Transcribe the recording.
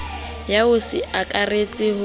ya ho se akaretse ba